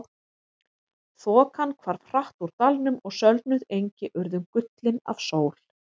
Þokan hvarf hratt úr dalnum og sölnuð engi urðu gullin af sól.